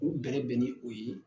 K'u bɛrɛ bɛ ni o ye.